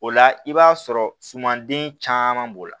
O la i b'a sɔrɔ sumanden caman b'o la